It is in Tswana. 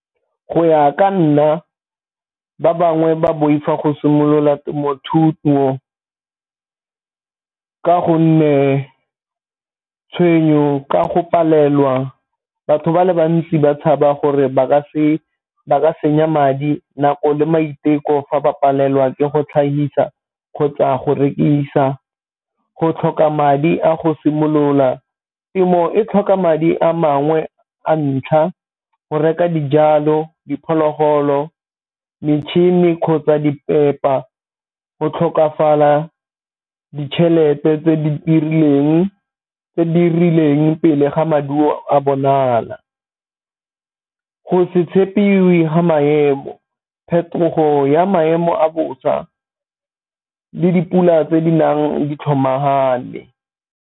Go ya ka nna ba bangwe ba boifa go simolola temothuo ka gonne tshenyo ka go palelwa, batho ba le bantsi ba tshaba gore ba ka senya madi nako le maiteko fa ba palelwa ke go tlhagisa kgotsa go rekisa, go tlhoka madi a go simolola. Temo e tlhoka madi a mangwe a ntlha go reka dijalo diphologolo metšhini kgotsa di pepa, go tlhokafala ditšhelete tse di rileng pele ga maduo a bonala. Go se tshepiwe ga maemo, phetogo ya maemo a bosa le dipula tse di nang di tlhomagane.